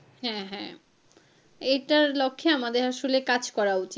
হ্যাঁ হ্যাঁ এটার লক্ষে আমাদের আসলে কাজ করা উচিৎ।